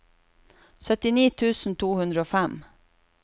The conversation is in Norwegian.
syttini tusen to hundre og fem